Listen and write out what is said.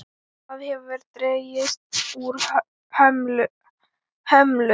Það hefur dregist úr hömlu.